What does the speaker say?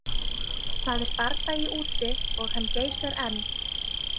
Það er bardagi úti og hann geysar enn.